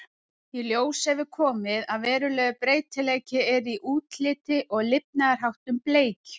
Í ljós hefur komið að verulegur breytileiki er í útliti og lifnaðarháttum bleikju.